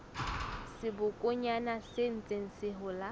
sebokonyana se ntseng se hola